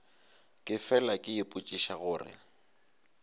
ke fela ke ipotšiša gore